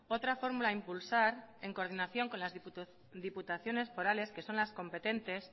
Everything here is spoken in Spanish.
otra fórmula a impulsar en coordinación con las diputaciones forales que son las competentes